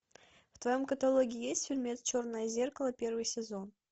в твоем каталоге есть фильмец черное зеркало первый сезон